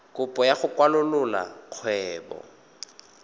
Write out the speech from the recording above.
kopo ya go kwalolola kgwebo